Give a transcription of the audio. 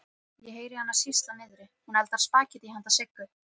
Ég heyri hana sýsla niðri, hún eldar spagettí handa Siggu.